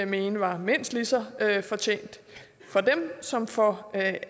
mene er mindst lige så fortjent for dem som for